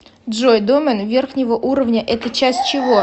джой домен верхнего уровня это часть чего